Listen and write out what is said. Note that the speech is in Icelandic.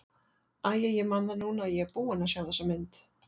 Æi, ég man það núna að ég er búinn að sjá þessa mynd.